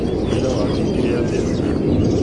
Ira watindire atĩa?